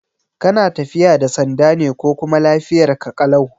Kana tafiya da sanda ne ko kuma lafiyarka ƙalau?